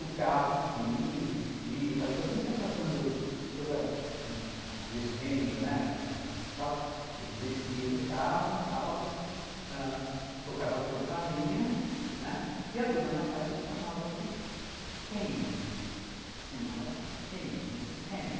O carro vinha, descia, enquanto isso ia passando toda a legenda, né, ele descia do carro tal, tocava a campainha, e a dona da casa chamava-se Kane, Senhora Kane, Mrs. Kane.